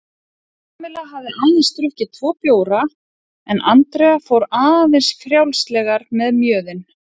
Kamilla hafði aðeins drukkið tvo bjóra en Andrea fór aðeins frjálslegar með mjöðinn.